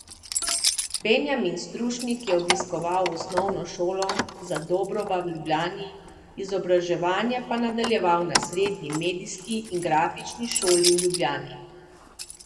Benjamin Strušnik je obiskoval Osnovno šolo Zadobrova v Ljubljani, izobraževanje pa nadaljeval na Srednji medijski in grafični šoli v Ljubljani.